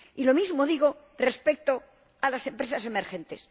Y lo mismo digo respecto a las empresas emergentes.